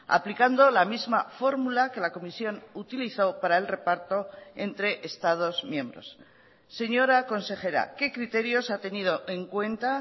aplicando la misma fórmula que la comisión utilizó para el reparto entre estados miembros señora consejera qué criterios ha tenido en cuenta